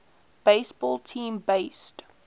baseball team based